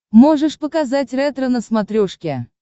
можешь показать ретро на смотрешке